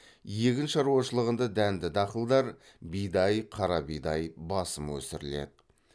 егін шаруашылығында дәнді дақылдар басым өсіріледі